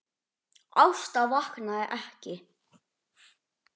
Ásta vaknaði ekki.